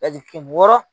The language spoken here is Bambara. wɔɔrɔ